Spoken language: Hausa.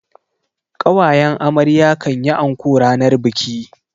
ƙawayen amarya kan yi anko ranar biki.